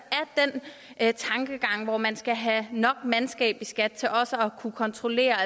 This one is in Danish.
er den tankegang hvor man skal have nok mandskab i skat til også at kunne kontrollere